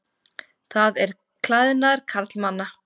Það er klæðnaður karlmanna.